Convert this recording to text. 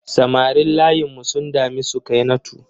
Samarin layinmu sun dami Sukainatu.